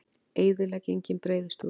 Eyðileggingin breiðist út